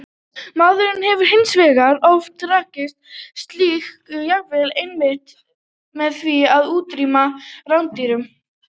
Maðurinn hefur hins vegar oft raskað slíku jafnvægi einmitt með því að útrýma rándýrunum.